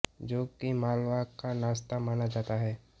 जो की मालवा का नास्ता माना जाता है